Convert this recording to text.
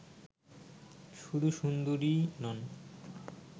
শুধু সুন্দরীই নন